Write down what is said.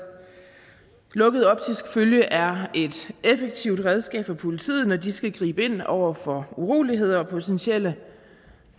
lukket optisk følge er et effektivt redskab for politiet når de skal gribe ind over for uroligheder og potentielt